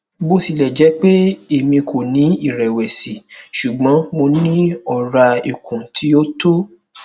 bo tilẹ jẹ pe emi ko ni irẹwẹsi ṣugbọn mo ni ọra ikun ti o tọ